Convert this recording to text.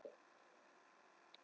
Mér er alveg sama um þetta.